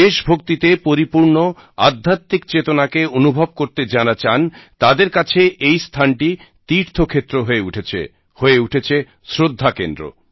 দেশভক্তিতে পরিপূর্ণ আধ্যাত্বিক চেতনাকে অনুভব করতে যারা চান তাঁদের কাছে এই স্থানটি তীর্থক্ষেত্র হয়ে উঠেছে হয়ে উঠেছে শ্রদ্ধা কেন্দ্র